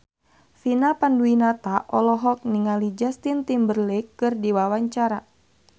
Vina Panduwinata olohok ningali Justin Timberlake keur diwawancara